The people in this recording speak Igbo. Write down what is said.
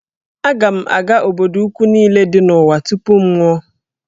Aga m aga obodo ukwu niile dị n'ụwa tupu m anwụọ